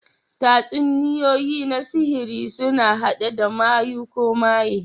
Tatsuniyoyi na sihiri suna haɗe da mayu ko maye.